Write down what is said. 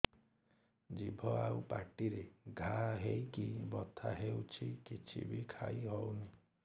ଜିଭ ଆଉ ପାଟିରେ ଘା ହେଇକି ବଥା ହେଉଛି କିଛି ବି ଖାଇହଉନି